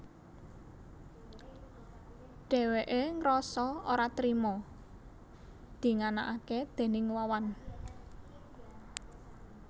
Dhèwèké ngrasa ora trima dinganakaké déning Wawan